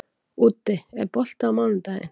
Úddi, er bolti á mánudaginn?